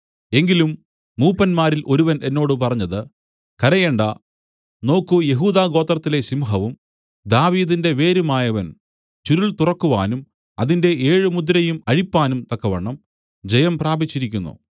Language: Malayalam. എങ്കിലും മൂപ്പന്മാരിൽ ഒരുവൻ എന്നോട് പറഞ്ഞത് കരയണ്ട നോക്കൂ യെഹൂദാഗോത്രത്തിലെ സിംഹവും ദാവീദിന്റെ വേരുമായവൻ ചുരുൾ തുറക്കുവാനും അതിന്റെ ഏഴുമുദ്രയും അഴിപ്പാനും തക്കവണ്ണം ജയം പ്രാപിച്ചിരിക്കുന്നു